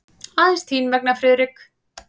Aðeins þín vegna, Friðrik.